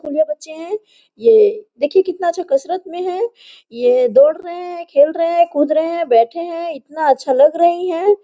और ये बच्चे है ये देखिए कितना अच्छा कसरत में है ये दौड़ रहे है खेल रहे है कूद रहे है बैठे है इतना अच्छा लग रही है।